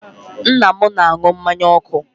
Nna m na-anụ mmanya ọkụ.